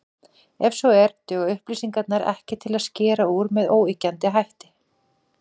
Ef svo er, duga upplýsingarnar ekki til að skera úr með óyggjandi hætti.